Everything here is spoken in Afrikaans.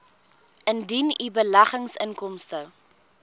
indien u beleggingsinkomste